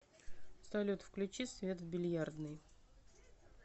салют включи свет в бильярдной